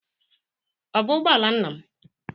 Ọ bụ ụgbọ ala nna m?